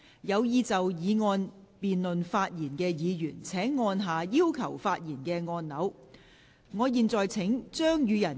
有意就議案辯論發言的議員請按下"要求發言"按鈕。